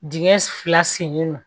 Dingɛ fila sennen don